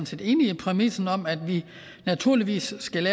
set enig i præmissen om at vi naturligvis skal